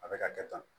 A bɛ ka kɛ tan